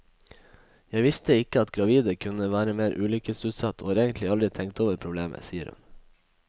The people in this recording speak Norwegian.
Jeg visste ikke at gravide kunne være mer ulykkesutsatt, og har egentlig aldri tenkt over problemet, sier hun.